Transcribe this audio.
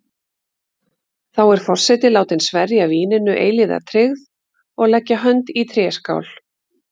Þá er forseti látin sverja víninu eilífa tryggð og leggja hönd í tréskál.